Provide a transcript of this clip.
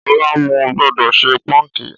Ọ̀la mo gbọ́dọ̀ ṣe póńkì